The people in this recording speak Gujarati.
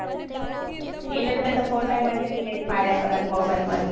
એટલે મેતો તો ફોટા મો થી delete માર્યા પરાં mobile મોથી